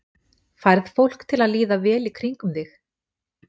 Færð fólk til að líða vel í kringum þig?